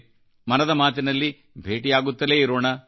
ಮನದ ಮಾತಿನಲ್ಲಿಭೇಟಿಯಾಗುತ್ತಲೇಇರೋಣ